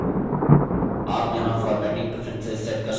master slide template जैसी है